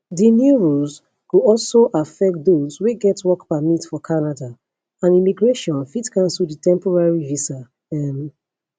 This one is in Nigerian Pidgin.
di new rules go also affect dose wey get work permit for canada and immigration fit cancel di temporary visa um